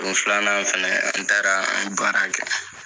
Don filanan fɛnɛ an taara an ye baara kɛ.